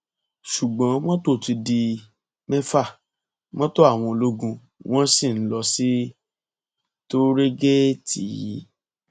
ṣùgbọn mọtò ti di mẹfà mọtò àwọn ológun wọn sì ń lọ sí tóòrégèètì yìí